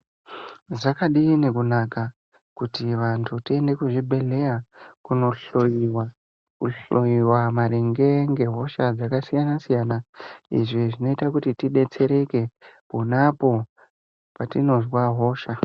Zvakadini kunaka kuti vantu tiende kuzvibhedhleya kunohloiwa, kuhloiwa maringe ngehosha dzakasiyana-siyana. Izvi zvinoita kuti tibetsereke ponapo patinozwa hosha